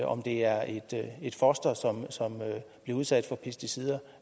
om det er et foster som bliver udsat for pesticider